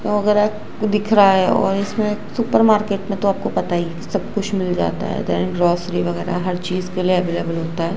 दिख रहा है और इस में सुपार मार्केट में तो आप को पता ही सब कुछ मिल जाता है देन ग्रॉसरी वगैरा हर चीज के लिए अवेलेबल होता है।